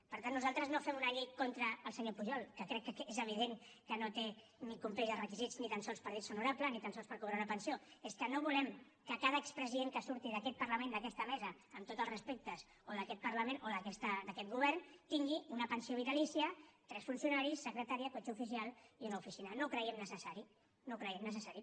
per tant nosaltres no fem una llei contra el senyor pujol que crec que és evident que no té ni compleix els requisits ni tan sols per dir se honorable ni tan sols per cobrar una pensió és que no volem que cada expresident que surti d’aquest parlament d’aquesta mesa amb tots els respectes o d’aquest parlament o d’aquest govern tingui una pensió vitalícia tres funcionaris secretària cotxe oficial i una oficina no ho creiem necessari no ho creiem necessari